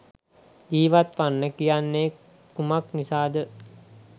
ජීවත් වන්න කියන්නේ කුමක් නිසා ද?